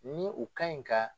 Ni u ka ɲi ka